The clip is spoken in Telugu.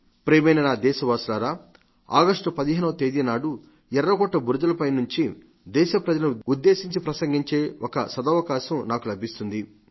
ప్రియమైన నా దేశవాసులారా ఆగస్టు 15వ తేదీనాడు ఎర్రకోట బురుజుల పై నుండి దేశ ప్రజలను ఉద్దేశించి ప్రసంగించే ఒక సదవకాశం నాకు లభిస్తుంది